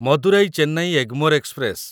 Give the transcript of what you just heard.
Madurai Chennai Egmore express